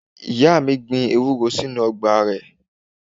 Ìyá mi gbin ewúro sínú Ọgbà rẹ̀